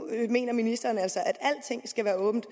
mener ministeren altså at alting skal være åbent